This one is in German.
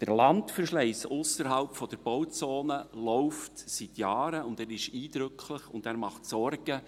Der Landverschleiss ausserhalb der Bauzone läuft seit Jahren, und er ist eindrücklich und macht Sorgen.